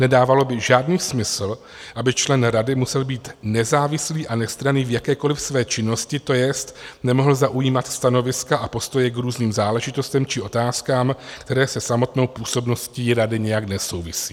Nedávalo by žádný smysl, aby člen rady musel být nezávislý a nestranný v jakékoliv své činnosti, to jest nemohl zaujímat stanoviska a postoje k různým záležitostem či otázkám, které se samotnou působností rady nijak nesouvisí.